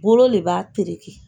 Bolo le b'a tereke.